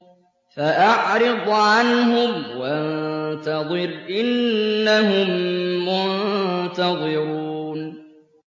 فَأَعْرِضْ عَنْهُمْ وَانتَظِرْ إِنَّهُم مُّنتَظِرُونَ